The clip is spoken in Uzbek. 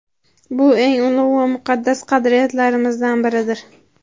Bu – eng ulug‘ va muqaddas qadriyatlarimizdan biridir.